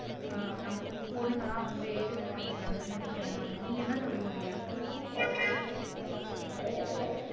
ஆஹ் நம்ம பொண்ணுங்க எல்லாம் வந்து ஏஜ் அட்டென்ட் பண்ணிடுறாங்கன்னு நினைக்கிறேன் நானு நீங்க என்ன சொல்றீங்க லியா